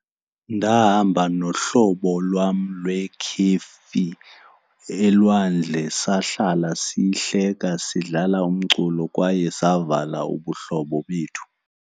Ndahamba nohlobo lwam lwekhefi elwandle sahlala sihleka, sidlala umculo kwaye savala ubuhlobo bethu.